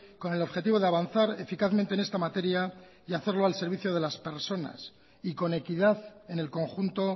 con el objetivo de avanzar eficazmente en esta materia y hacerlo al servicio de las personas y con equidad en el conjunto